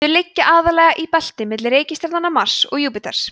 þau liggja aðallega í belti milli reikistjarnanna mars og júpíters